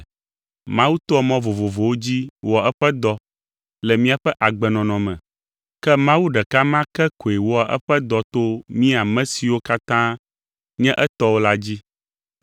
Mawu toa mɔ vovovowo dzi wɔa eƒe dɔ le míaƒe agbenɔnɔ me, ke Mawu ɖeka ma ke koe wɔa eƒe dɔ to mí ame siwo katã nye etɔwo la dzi.